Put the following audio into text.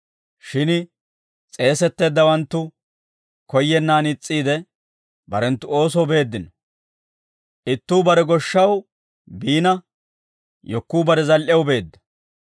Shin s'eesetteeddawanttu koyyennaan is's'iide, barenttu oosoo beeddino; ittuu bare goshshaw biina, yekkuu bare zal"ew beedda.